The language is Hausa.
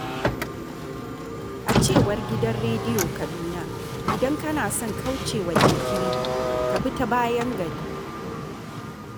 A cewar gidan rediyo Kaduna, idan kana son kauce wa jinkiri, ka bi ta bayan gari.